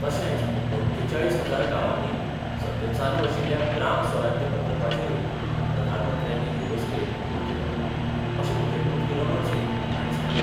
तशेंच अठ्ठेचाळीस हजार गावांनी सध्या चालु आशिल्ल्या ग्राम स्वराज्य प्रकल्पाचेरुय प्रधानमंत्र्यांनी हे बसकेंत भर दिलो, अशें मुखेलमंत्री रमण सिंग हाणी सांगलें.